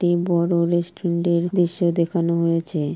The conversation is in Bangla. একটি বড় রেস্টুরেন্টের এর দৃশ্য দেখানো হয়েছে ।